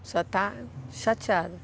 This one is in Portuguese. está chateada?